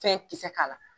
Fɛn kisɛ k'a la